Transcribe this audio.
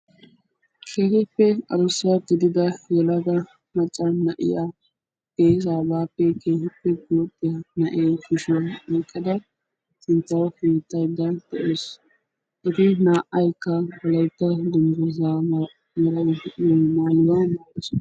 Keehippe adussa gidida yelaga macca na'iyaa geessaa baappe keehiippe guuxxiyaa naa'iyoo kushiyaan oyqqada sinttawu pinttaydda de'awus. wolaytta dunguzzaa malay de'iyoo maayuwaa maayidosona.